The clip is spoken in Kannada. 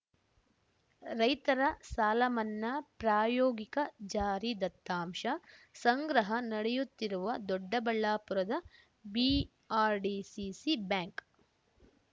ರೈತರ ಸಾಲಮನ್ನಾ ಪ್ರಾಯೋಗಿಕ ಜಾರಿ ದತ್ತಾಂಶ ಸಂಗ್ರಹ ನಡೆಯುತ್ತಿರುವ ದೊಡ್ಡಬಳ್ಳಾಪುರದ ಬಿಆರ್‌ಡಿಸಿಸಿ ಬ್ಯಾಂಕ್‌